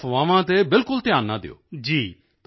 ਵੇਖੋ ਅਫ਼ਵਾਹਾਂ ਤੇ ਬਿਲਕੁਲ ਧਿਆਨ ਨਾ ਦਿਓ